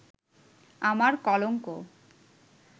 আমার কলঙ্ক